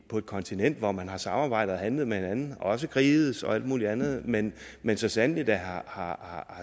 på et kontinent hvor man har samarbejdet og handlet med hinanden også har krigedes og alt muligt andet men men så sandelig da har